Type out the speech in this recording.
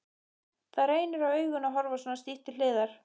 Það reynir á augun að horfa svona stíft til hliðar.